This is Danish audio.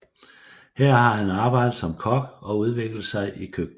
Her har han arbejdet som kok og udviklet sig i køkkenet